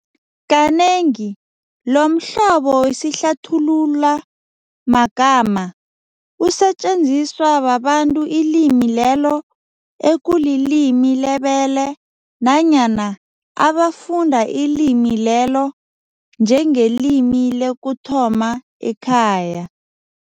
Kanengi lomhlobo wesihlathulumagama usetjenziswa babantu ilimi lelo ekulilimi lebele nanyana abafunda ilimi lelo njengelimi lokuthoma ekhaya.